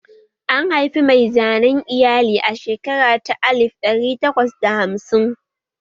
An haifi mai zanen iyali a shekara ta alif ɗari takwas da hamsin?